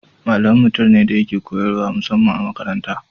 Malami mutum ne da yake koyarwa musamman a makaranta.